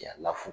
Jaa lafu